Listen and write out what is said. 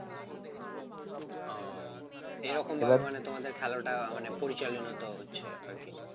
ও এরকম তোমাদের খেলাটা মানে পরিচালিত হচ্ছে আর কি